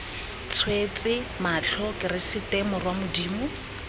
tswetse matlho keresete morwa modimo